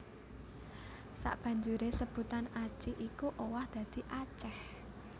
Sabanjuré sebutan Aci iku owah dadi Aceh